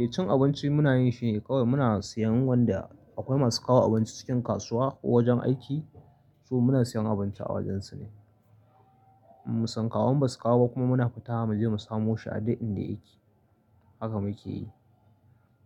Eh cin abinci muna yin shi ne kawai muna siyan wanda akwai masu kawo abinci cikin kasuwa ko wajen aiki. So muna siyan abinci a wajensu ne. In sun kawo, in ba su kawo kuma muna fitawa muje mu samo shi a dai inda yake haka mukeyi.